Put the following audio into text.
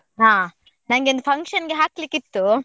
ಹ, ನಂಗೆ ಒಂದ್ function ಗೆ ಹಾಕ್ಲಿಕ್ಕೆ ಇತ್ತು.